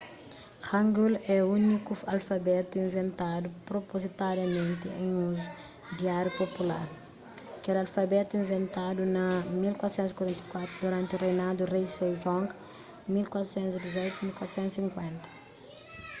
hangeul é úniku alfabetu inventadu propozitadamenti en uzu diáriu popular. kel alfabetu inventadu na 1444 duranti reinadu di rei sejong 1418 - 1450